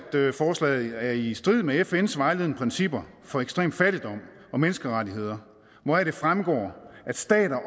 forslaget er i strid med fns vejledende principper for ekstrem fattigdom og menneskerettigheder hvoraf det fremgår at stater